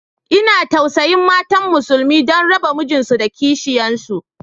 Ina tausayin matan musulmi, don raba mijinsu da kishiyansu